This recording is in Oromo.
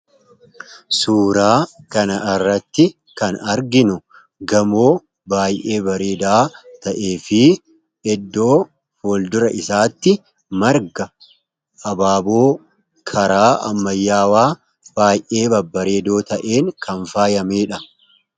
Suuraa kana irratti kan arginu gamoo baayee bareedaa ta'ee fi eddoo fuldura isaatti marga abaaboo karaa ammayyaawaa baayee babareedoo ta'een kanfaayameedha.